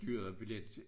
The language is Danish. Styrede billet